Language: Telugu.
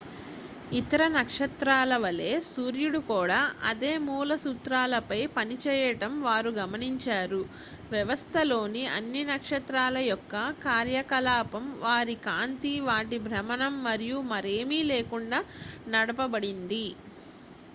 ఇతర నక్షత్రాలవలే సూర్యుడు కూడా అదే మూల సూత్రాలపై పనిచేయడం వారు గమనించారు వ్యవస్థలోని అన్ని నక్షత్రాల యొక్క కార్యకలాపం వారి కాంతి వాటి భ్రమణం మరియు మరేమీ లేకుండా నడపబడింది